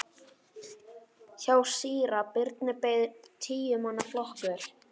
Hjá síra Birni beið tíu manna flokkur.